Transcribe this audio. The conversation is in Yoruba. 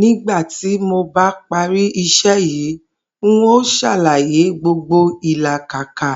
Nígbà tí mo bá pari isé̩ yìí, n óò sàlàyé gbogbo ìlàkàkà